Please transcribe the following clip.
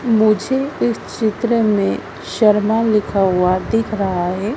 मुझे इस चित्र में शर्मा लिखा हुआ दिख रहा है।